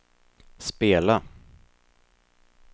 spela